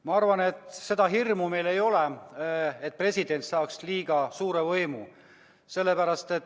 Ma arvan, et seda hirmu meil ei ole, et president saaks liiga suure võimu.